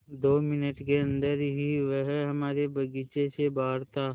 दो मिनट के अन्दर ही वह हमारे बगीचे से बाहर था